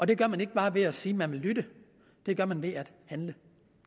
det gør man ikke bare ved at sige at man vil lytte det gør man ved at handle